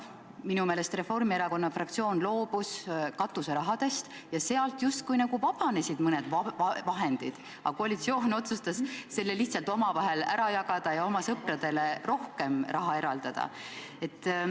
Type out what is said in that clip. Minu meelest loobus Reformierakonna fraktsioon katuserahast ja sealt justkui vabanes vahendeid, aga koalitsioon otsustas selle lihtsalt omavahel ära jagada ja oma sõpradele rohkem raha eraldada.